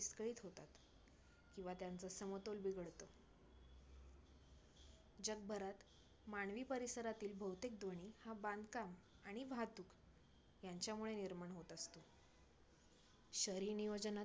किंवा त्यांचा समतोल बिघडतो. जगभरात मानवी परिसरातील बहुतेक ध्वनी हा बांधकाम आणि वाहतूक ह्यांच्यामुळे निर्माण होत असतो. शहरी नियोजनात